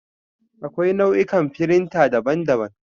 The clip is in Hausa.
Akwai nau'ikan firinta daban-daban.